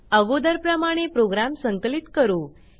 अगोदरप्रमाणे program संकलित करू